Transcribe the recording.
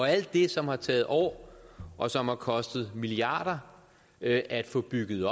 alt det som har taget år og som har kostet milliarder at at få bygget